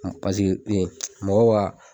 Paseke mɔgɔ bi ka